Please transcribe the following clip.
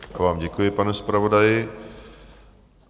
Já vám děkuji, pane zpravodaji.